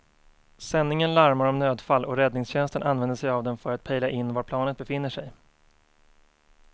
Sändningen larmar om nödfall och räddningstjänsten använder sig av den för att pejla in var planet befinner sig.